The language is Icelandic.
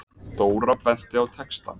Dóra benti á textann.